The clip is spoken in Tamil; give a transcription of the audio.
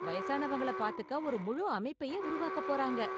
வயசானவங்களை பாத்துக்க ஒரு முழு அமைப்பையே உருவாக்கப் போறாங்க.